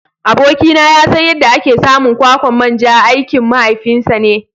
Abokina ya san yadda ake samun kwakwan manja aikin mahaifinsa ne.